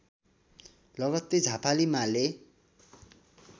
लगत्तै झापाली माले